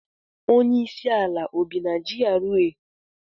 Onye isi ala Naijiria o bị n'ime GRA?